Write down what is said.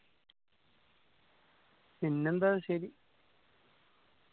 പിന്നെന്താ ശരി